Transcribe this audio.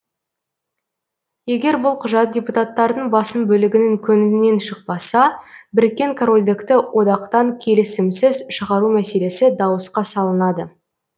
егер бұл құжат депутаттардың басым бөлігінің көңілінен шықпаса біріккен корольдікті одақтан келісімсіз шығару мәселесі дауысқа салынады